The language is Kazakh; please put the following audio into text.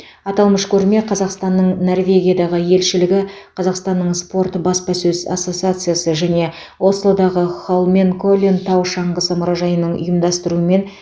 аталмыш көрме қазақстанның норвегиядағы елшілігі қазақстанның спорт баспасөз ассоциациясы және ослодағы холменколлен тау шаңғысы мұражайының ұйымдастыруымен